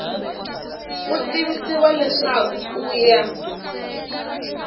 u tivisiwa leswaku ku ya